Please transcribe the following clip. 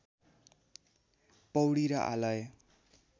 पौडी र आलय